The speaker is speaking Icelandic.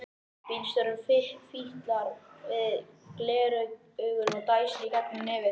Bílstjórinn fitlar við gleraugun og dæsir í gegnum nefið.